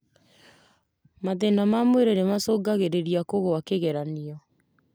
Mathĩna ma mwĩrĩ nĩ macũngagĩriria kũgũa kĩgeranii